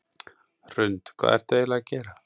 Hrund: Hvað ertu eiginlega að gera?